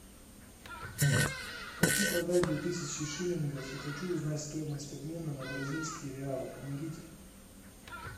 хочу продать две тысячи шиллингов и хочу узнать стоимость обмена на бразильские реалы помогите